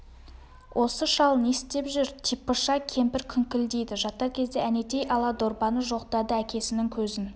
осы шал не істеп жүр типыша кемпір күңкілдейді жатар кезде әнетей ала дорбаны жоқтады әкесінің көзін